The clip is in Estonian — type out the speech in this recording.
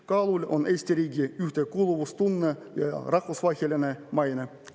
Kaalul on Eesti riigi ühtekuuluvustunne ja rahvusvaheline maine.